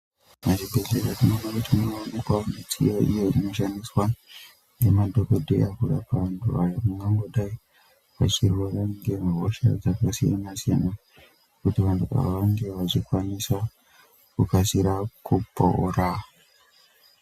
Muzvibhedhlera tinoona kuti munoonekwa midziyo iyo inoshandiswa ngemadhokodheya kurapa vantu vangangodai vachirwara ngehosha dzakasiyana siyana kuti vantu vange vachikasira kupora.